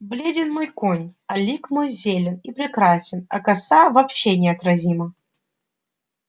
бледен мой конь а лик мой зелен и прекрасен а коса вообще неотразима